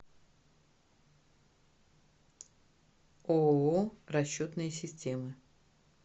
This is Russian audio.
ооо расчетные системы